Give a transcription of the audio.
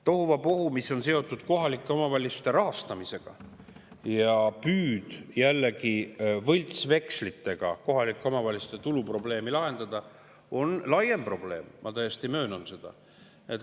Tohuvabohu, mis on seotud kohalike omavalitsuste rahastamisega, ja püüd jällegi võltsvekslitega kohalike omavalitsuste tuluprobleemi lahendada on laiem probleem, ma täiesti möönan seda.